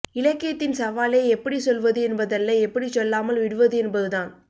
இலக்கியத்தின் சவாலே எப்படி சொல்வது என்பதல்ல எப்படிச் சொல்லாமல் விடுவது என்பதுதான்